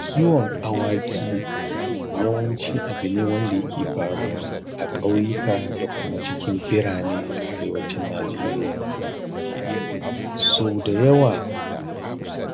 Kiwon awaki yawanci abu ne wanda yake faruwa a ƙauyuka da kuma birane a Arewacin Najeriya. sauda yawa